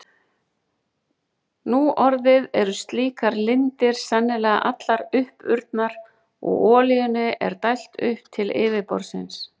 Nú orðið eru slíkar lindir sennilega allar uppurnar og olíunni er dælt upp til yfirborðsins.